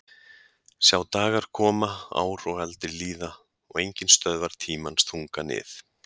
Sjá dagar koma ár og aldir líða og enginn stöðvar tímans þunga nið